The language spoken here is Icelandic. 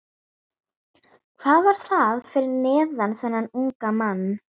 Hvað var það fyrir þennan unga mann?